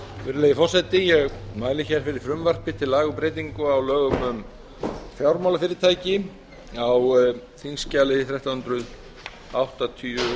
virðulegi forseti ég mæli hér fyrir frumvarpi til laga um breyting á lögum um fjármálafyrirtæki á þingskjali þrettán hundruð áttatíu